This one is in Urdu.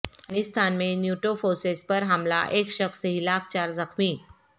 افغانسان میں نیٹوفورسز پرحملہ ایک شخص ہلاک چار زخمی